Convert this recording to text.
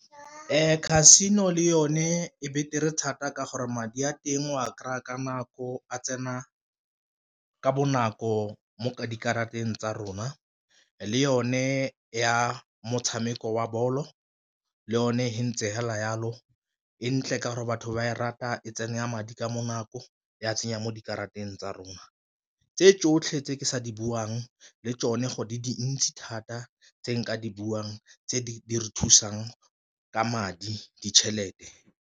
Casino le yone e betere thata ka gore madi a teng o a kry-a ka nako a tsena ka bonako mo dikarateng tsa rona le yone ya motshameko wa ball-o le yone e ntse fela yalo, e ntle ka gore batho ba e rata e tsene ya madi ka bonako ya tsenya mo dikarateng tsa rona. Tse tsotlhe tse ke sa di buang le tsone go di dintsi thata tse nka di buang tse di re thusang ka madi ditšhelete.